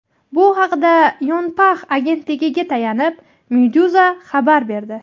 Bu haqda Yonhap agentligiga tayanib, Meduza xabar berdi .